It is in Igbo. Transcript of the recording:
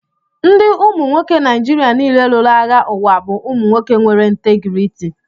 Ndị umu nwoke Nijiria niile lụrụ agha ụwa bụ umu nwoke nwere ntégriiti